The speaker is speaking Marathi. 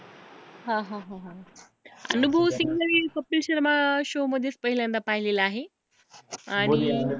हा हा हा अनुभव सिंघला मी कपिल शर्मा show मध्येच पहिल्यांदा पाहिलेला आहे, आणि